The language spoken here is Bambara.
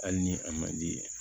Hali ni a man di